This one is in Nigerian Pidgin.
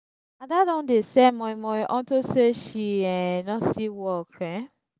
ada don dey sell moi moi unto say she um no see work um